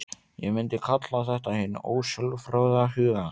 Ég myndi kalla þetta hinn ósjálfráða huga.